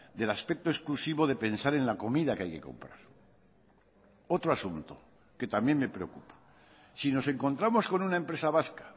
del aspecto exclusivo de pensar en la comida que hay que comprar otro asunto que también me preocupa si nos encontramos con una empresa vasca